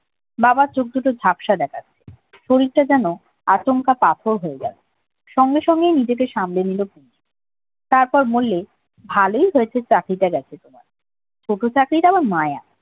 বাবার চোখ দুটো ঝাপসা দেখাচ্ছে শরীরটা যেন আতঙ্ক কাতর হয়ে গেছে সঙ্গে সঙ্গেই নিজেকে সামলে পুনু তারপর বললে ভালোই হয়েছে চাকরিটা গেছে তোমার ছোটো চাকরিটা মায়া